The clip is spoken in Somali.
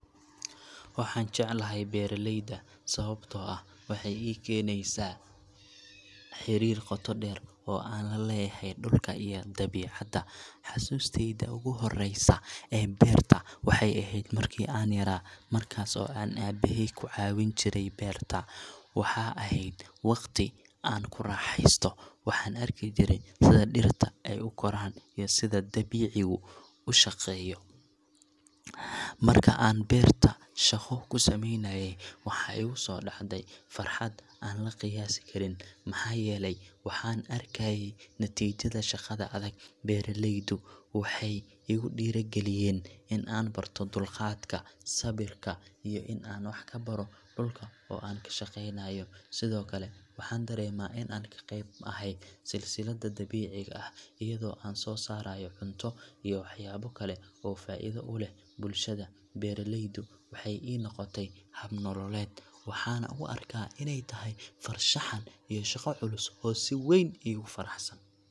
Waxaan jeclahay beeralayda sababtoo ah waxay ii keenaysaa xiriir qoto dheer oo aan la leeyahay dhulka iyo dabiicadda. Xusuustayda ugu horeysa ee beerta waxay ahayd markii aan yaraa, markaas oo aan aabbahay ku caawin jiray beerta. Waxaa ahayd waqti aan ku raaxaysto, waxaana arki jiray sida dhirta ay u koraan iyo sida dabiicigu u shaqeeyo. Markii aan beerta shaqo ku samaynayay, waxaa igu soo dhacday farxad aan la qiyaasi karin, maxaa yeelay waxaan arkayay natiijada shaqada adag. Beeralaydu waxay igu dhiirrigeliyeen in aan barto dulqaadka, sabirka, iyo in aan wax ka baro dhulka aan ka shaqeynayo. Sidoo kale, waxaan dareemaa in aan qayb ka ahay silsiladda dabiiciga ah, iyadoo aan soo saarayo cunto iyo waxyaabo kale oo faa'iido u leh bulshada. Beeralaydu waxay ii noqotay hab nololeed, waxaana u arkaa inay tahay farshaxan iyo shaqo culus oo si weyn iigu faraxsan.